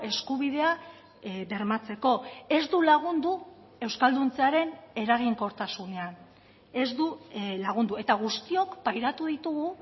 eskubidea bermatzeko ez du lagundu euskalduntzearen eraginkortasunean ez du lagundu eta guztiok pairatu ditugu